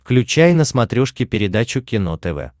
включай на смотрешке передачу кино тв